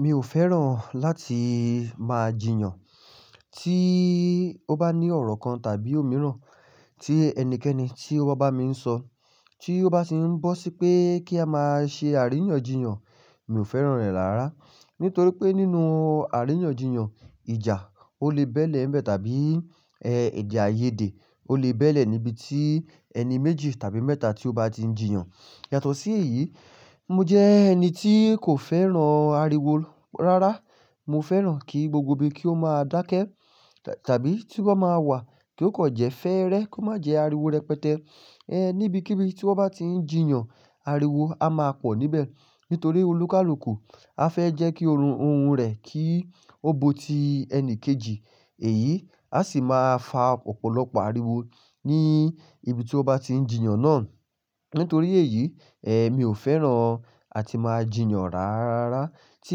Mi ò fẹ́ràn láti máa jiyàn. Tí ó bá ní ọ̀rọ̀ kan tàbí òmíràn tí ẹnikẹ́ni tí ó bá báa mi ń sọ, tí ó bá ti ń bọ́ sí pé kí a máa ṣe àríyànjiyàn, mi ò fẹ́ràn rẹ̀ rárá. Nítorí pé nínú àríyànjiyàn, ìjà ó lè bẹ́lẹ̀ ń bẹ tàbí èdè-àìyedè ó lè bẹ́lẹ̀ níbi tí ẹni méjì tàbí mẹ́ta tí ó bá ti ń jiyàn. Yàtọ̀ sí èyí, mo jẹ ẹni tí kò fẹ́ràn ariwo rárá. Mo fẹ́ràn kí gbogbo ibi kí ó máa dákẹ́ tàbí tí ó bá máa wà kí ó kọ̀ jẹ́ fẹ́rẹ́, kó má jẹ ariwo rẹpẹtẹ. Ehn, níbikíbi tí wọ́n bá ti ń jiyàn, ariwo a máa pọ̀ níbẹ̀. Nítorí olúkàlùkù á fẹ́ jẹ́ kí oorun òun rẹ̀ kí ó bó ti ẹni kejì. Èyí á sì máa fa ọ̀pọ̀lọpọ̀ ariwo ní ibi tí ó bá ti ń jiyàn náà. Nítorí èyí, eh mi ò fẹ́ràn àti máa jiyàn rárá. Tí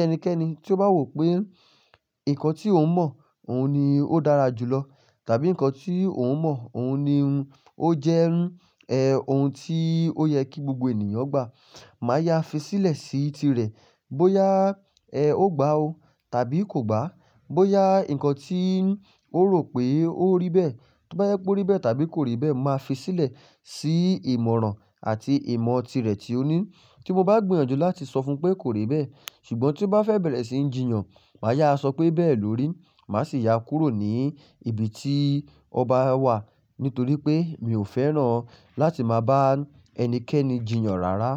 ẹnikẹ́ni tí ó bá wò pé nǹkan tí òun mọ̀, òun ni ó dára jù lọ tàbí nǹkan tí òun mọ̀, òun ni ó jẹ́ eh òun tí ó yẹ kí gbogbo ènìyàn gbà, màá yá fi sílẹ̀ sí tirẹ̀. Bóyá eh ó gba ó tàbí kò gbà, bóyá nǹkan tí ó rò pé ó rí bẹ́ẹ̀, tó bá jẹ pé ó rí bẹ́ẹ̀ tàbí kò rí bẹ́ẹ̀, màá fi sílẹ̀ sí ìmọ̀ràn àti ìmọ̀ tirẹ̀ tí ó ní. Tí mo bá gbìyànjú láti sọ fún un pé kò rí bẹ́ẹ̀, ṣùgbọ́n tí ó bá fẹ́ bẹ̀rẹ̀ sí ń jiyàn, màá yá sọ pé bẹ́ẹ̀ lórí. Màá sì yá kúrò ní ibi tí ọba wà. Nítorí pé mi ò fẹ́ràn láti máa bá ẹnikẹ́ni jiyàn rárá.